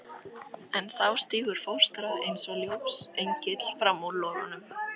En þá stígur fóstra eins og ljósengill fram úr logunum.